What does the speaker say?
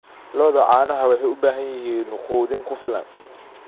Lo'da caanaha waxay u baahan yihiin quudin ku filan.